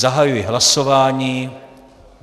Zahajuji hlasování.